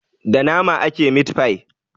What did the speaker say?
Da nama ake mit-fai.